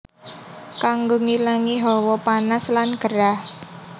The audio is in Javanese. Kanggo ngilangi hawa panas lan gerah